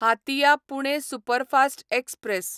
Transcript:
Hatia Pune superfast express